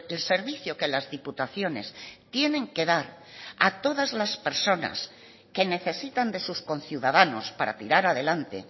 el servicio que las diputaciones tienen que dar a todas las personas que necesitan de sus conciudadanos para tirar adelante